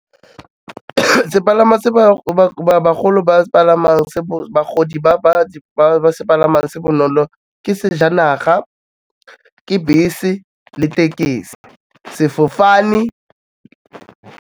Sepalama se ba bagolo ba se palamang, se bagodi ba se palamang se bonolo, ke sejanaga, ke bese, le tekesi, sefofane.